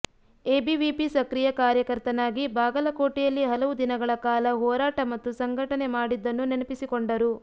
ABVP ಸಕ್ರೀಯಾ ಕಾರ್ಯಕರ್ತನಾಗಿ ಬಾಗಲಕೋಟೆಯಲ್ಲಿ ಹಲವು ದಿನಗಳ ಕಾಲ ಹೋರಾಟ ಮತ್ತು ಸಂಘಟನೆ ಮಾಡಿದ್ದನ್ನು ನೆನಪಿಸಿಕೊಂಡರು